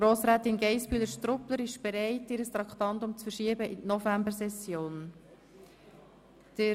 Grossrätin Geissbühler-Strupler ist bereit, das Traktandum 73 auf die Novembersession zu verschieben.